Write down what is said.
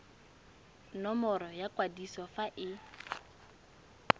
nomoro ya kwadiso fa e